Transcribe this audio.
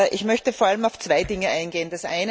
Ich möchte vor allem auf zwei Dinge eingehen.